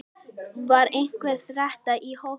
Var einhver þreyta í hópnum?